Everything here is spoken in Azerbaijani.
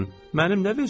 Mənim nə vecimə?